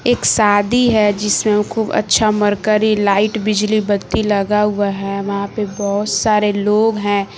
एक शादी है जिससे खूब अच्छा मरकरी लाइट बिजली बत्ती लगा हुआ है वहां पे बहोत सारे लोग हैं।